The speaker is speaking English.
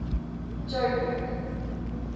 jo'burg